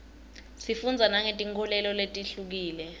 sifundza nangetinkholelo letihlukile